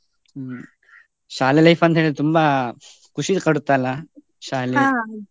ಹ್ಮ್ ಶಾಲೆ life ಅಂತೆಳಿದ್ರೆ ತುಂಬಾ ಖುಷಿ ಕೊಡುತ್ತೆ ಅಲ್ಲ .